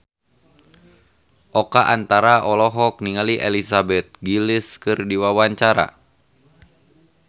Oka Antara olohok ningali Elizabeth Gillies keur diwawancara